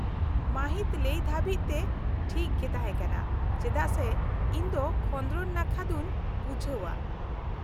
-ᱢᱟᱹᱦᱤᱛ ᱞᱟᱹᱭ ᱫᱷᱟᱹᱵᱤᱡᱛᱮ ᱴᱷᱤᱠ ᱜᱮ ᱛᱟᱦᱮᱸᱠᱟᱱᱟ ᱪᱮᱫᱟᱜ ᱥᱮ ᱤᱧᱫᱚ ᱠᱷᱚᱸᱫᱨᱚᱱ ᱱᱟᱠᱷᱟ ᱫᱚᱹᱧ ᱵᱩᱡᱷᱟᱹᱣᱟ ᱾